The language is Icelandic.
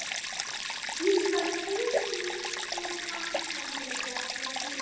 Íslands þúsundir pappírshandrita frá síðari öldum.